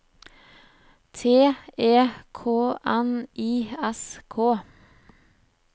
T E K N I S K